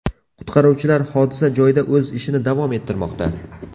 Qutqaruvchilar hodisa joyida o‘z ishini davom ettirmoqda.